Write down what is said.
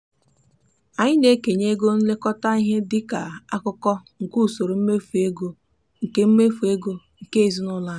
anyị na-ekenye ego nlekọta ihe di ka akụkụ nke usoro mmefu ego nke mmefu ego nke ezinụụlọ anyị.